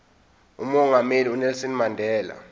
umongameli unelson mandela